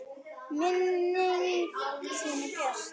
Minning þín er björt.